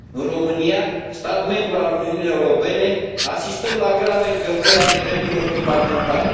În România, stat membru al Uniunii Europene, asistăm la grave încălcări ale drepturilor fundamentale.